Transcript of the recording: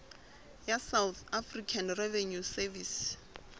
ya south african revenue service